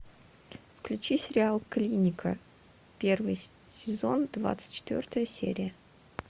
включи сериал клиника первый сезон двадцать четвертая серия